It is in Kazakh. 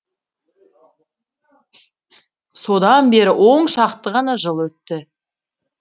содан бері он шақты ғана жыл өтті